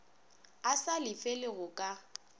a sa lefele go ka